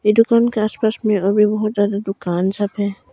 ये दुकान के आसपास में और भी बहुत ज्यादा दुकान शॉप हैं।